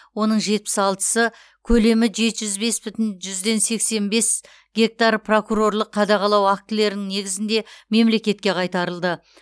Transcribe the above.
оның жетпіс алтысы көлемі жеті жүз бес бүтін жүзден сексен бес гектар прокурорлық қадағалау актілерінің негізінде мемлекетке қайтарылды